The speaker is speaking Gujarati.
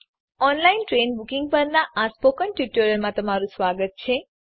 ઓનલાઇન ટ્રેન બુકિંગ પરનાં આ સ્પોકન ટ્યુટોરીયલમાં સ્વાગત છે